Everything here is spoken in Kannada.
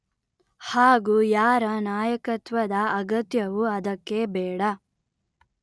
ಹಾಗೂ ಯಾರ ನಾಯಕತ್ವದ ಅಗತ್ಯವೂ ಅದಕ್ಕೆ ಬೇಡ